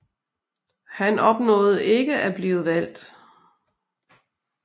Han opnåede ikke at blive valgt